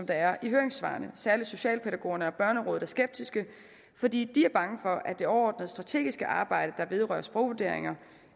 er i høringssvarene særlig socialpædagogerne og børnerådet er skeptiske fordi de er bange for at det overordnede strategiske arbejde der vedrører sprogvurderingerne